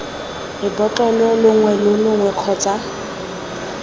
lebotlolo longwe lo longwe kgotsa